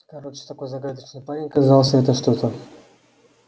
короче такой загадочный парень оказался это что-то